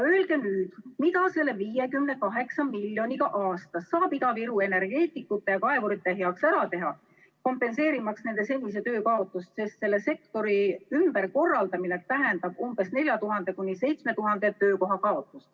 Öelge nüüd, mida selle 58 miljoni euroga aastas saab Ida-Viru energeetikute ja kaevurite heaks ära teha, kompenseerimaks nende senise töö kaotust, sest selle sektori ümberkorraldamine tähendab umbes 4000–7000 töökoha kaotust.